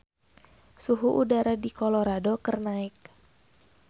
Suhu udara di Colorado keur naek